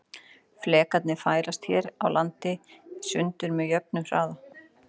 Flekarnir færast hér á landi í sundur með jöfnum hraða.